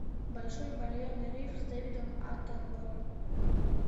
большой барьерный риф с дэвидом аттенборо